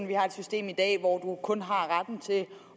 vi har et system i dag hvor kun har retten til